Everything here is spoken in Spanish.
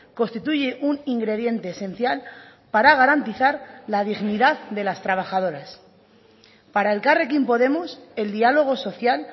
constituye un ingrediente esencial para garantizar la dignidad de las trabajadoras para elkarrekin podemos el diálogo social